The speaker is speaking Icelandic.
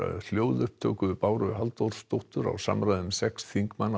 hljóðupptöku Báru Halldórsdóttur á samræðum sex þingmanna